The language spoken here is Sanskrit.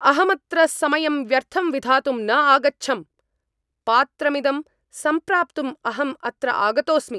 अहं अत्र समयं व्यर्थं विधातुं न आगच्छम्! पात्रमिदं सम्प्राप्तुम् अहम् अत्र आगतोऽस्मि।